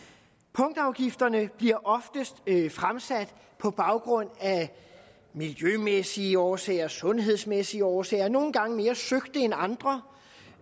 punktafgifterne bliver oftest fremsat på baggrund af miljømæssige årsager sundhedsmæssige årsager og nogle gange mere søgte end andre